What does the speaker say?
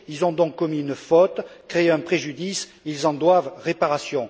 Ils ont donc commis une faute et créé un préjudice ils en doivent réparation.